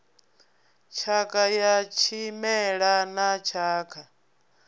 tshakha ya tshimela na tshakha